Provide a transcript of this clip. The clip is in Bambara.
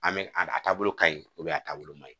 An bɛ a a taabolo ka ɲi a taabolo man ɲi